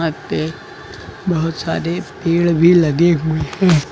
पे बोहोत सारे पेड़ भी लगे हुए हैं।